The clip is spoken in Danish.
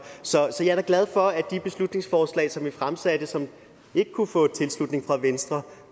så jeg er da glad for at de beslutningsforslag som vi fremsatte og som ikke kunne få tilslutning fra venstre